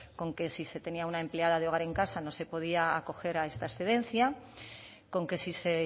con que si se tenía una emplea de hogar en casa no se podía acoger a esta excedencia con que si se